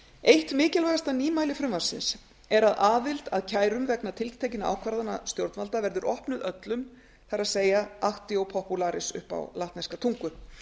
eitt mikilvægasta nýmæli frumvarpsins er að aðild að kærum vegna tiltekinna ákvarðana stjórnvalda verður opnuð öllum það er actio popularis upp á latneska tungu